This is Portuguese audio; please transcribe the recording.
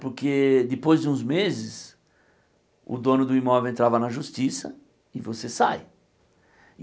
Porque depois de uns meses, o dono do imóvel entrava na justiça e você sai.